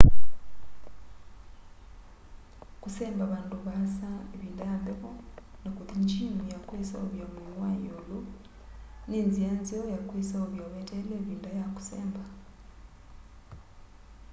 kũsemba vandũ vaasa ivinda ya mbevo na kũthi njimu ya kuseovya mwii wa iũlu ni nzi nzeo ya kwiseovya weteele ivinda ya kũsemba